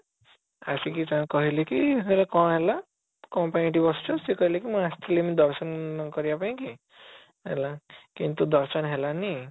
ଆସିକି ତାଙ୍କୁ କହିଲେ କି ୟାର କଣ ହେଲା କଣ ପାଇଁ ଏଠି ବସିଛ ସେ କହିଲେ କି ମୁଁ ଆସିଥିଲି ଏମିତି ଦର୍ଶନ କରିବା ପାଇଁ କି ହେଲା କିନ୍ତୁ ଦର୍ଶନ ହେଲାନି